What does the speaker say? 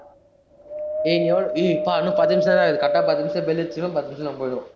டேய் எவ்ளோ ஏ யப்பா இன்னும் பத்து நிமிஷம்தான் இருக்குது, correct ஆ பத்து நிமிஷத்துல bell அடிச்சுருச்னா பத்து நிமிஷத்துல நாம போயிடுவ